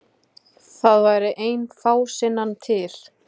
Það væri ein fásinnan til.